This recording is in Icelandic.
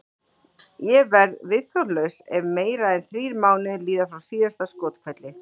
Ég verð viðþolslaus ef meira en þrír mánuðir líða frá síðasta skothvelli.